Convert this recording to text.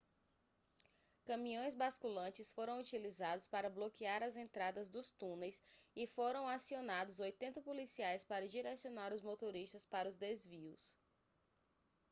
caminhões basculantes foram utilizados para bloquear as entradas dos túneis e foram acionados 80 policiais para direcionar os motoristas para os desvios